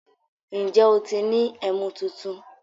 Ǹjẹ́ o ti ni ẹ̀mú tuntun?